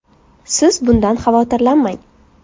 Siz bundan xavotirlanmang.